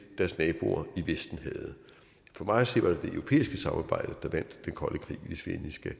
deres naboer i vesten havde for mig at se var det det europæiske samarbejde der vandt den kolde krig hvis vi endelig skal